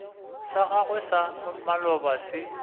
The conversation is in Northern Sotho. sa gago sa maloba se